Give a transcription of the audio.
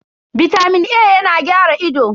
Bitamin A yana gyara ido.